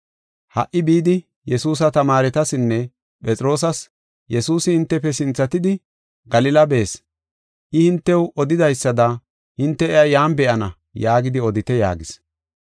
Ha77i bidi Yesuusa tamaaretasinne Phexroosas, ‘Yesuusi hintefe sinthatidi Galila bees. I, hintew odidaysada hinte iya yan be7ana’ yaagidi odite” yaagis.